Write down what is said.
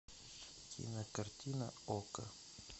кинокартина окко